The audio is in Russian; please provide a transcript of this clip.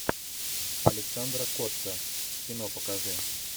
александра котта кино покажи